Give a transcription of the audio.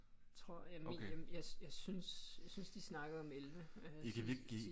Tror jeg mener jeg synes jeg synes de snakkede om 11